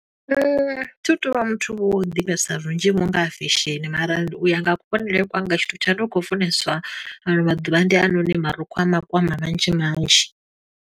Thi tu vha muthu vho, wo ḓivhesa zwinzhi vho nga ha fesheni, mara u ya nga kuvhonele kwanga, tshithu tshano khou funeswa ano maḓuvha ndi hainoni marukhu a makwama manzhi manzhi.